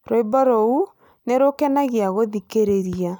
Rwĩmbo rũu nĩ rũkenagia gũthikĩrĩria